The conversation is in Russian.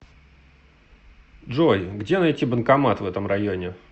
джой где найти банкомат в этом районе